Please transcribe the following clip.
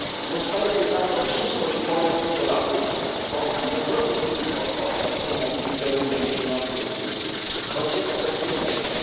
Powstaje pytanie o przyszłość Polek i Polaków i nie chodzi tylko o szacunek, wizerunek, pieniądze i wpływy, lecz o bezpieczeństwo.